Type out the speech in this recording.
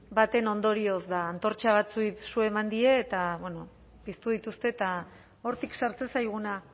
baten ondorioz da antortxa batzuei su eman die eta bueno piztu dituzte eta hortik sartzen zaiguna